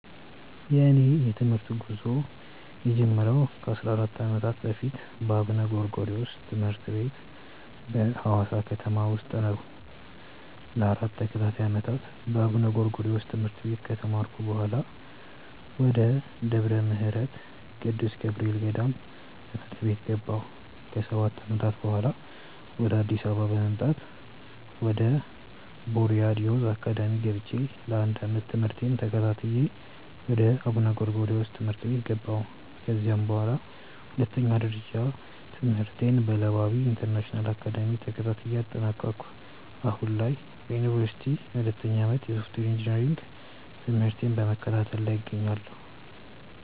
የእኔ የትምህርት ጉዞ የጀመረው ከ 14 ዓመታት በፊት በአቡነ ጎርጎሪዎስ ትምህርት ቤት በሀዋሳ ከተማ ውስጥ ነው። ለ 4 ተከታታይ ዓመታት በአቡነ ጎርጎሪዮስ ትምህርት ቤት ከተማርኩ በኃላ፣ ወደ ደብረ ምህረት ቅዱስ ገብርኤል ገዳም ትምህርት ቤት ገባሁ። ከ 7 ዓመታትም በኃላ፣ ወደ አዲስ አበባ በመምጣት ወደ ቦርያድ ዮዝ አካዳሚ ገብቼ ለ 1 ዓመት ትምህርቴን ተከታትዬ ወደ አቡነ ጎርጎሪዮስ ትምህርት ቤት ገባሁ። ከዚያም በኃላ ሁለተኛ ደረጃ ትምህርቴን በለባዊ ኢንተርናሽናል አካዳሚ ተከታትዬ አጠናቀኩ። አሁን ላይ በዮኒቨርሲቲ የሁለተኛ ዓመት የሶፍትዌር ኢንጂነሪንግ ትምህርቴን በመከታተል ላይ እገኛለሁ።